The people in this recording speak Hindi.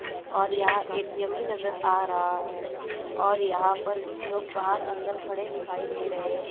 और यहां ए_टी_एम भी नजर आ रहा है और यहां पर कुछ लोग बाहर अंदर खड़े दिखाई दे रहे--